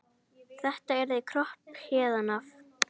Þetta yrði kropp héðan af.